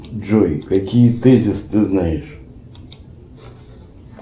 джой какие тезисы ты знаешь